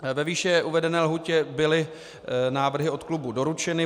Ve výše uvedené lhůtě byly návrhy od klubů doručeny.